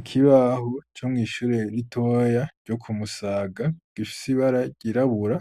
Ikibaho co mwishure ritoya ryo ku Musaga, gifise ibara ryirabura,